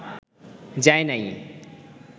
যায় নাই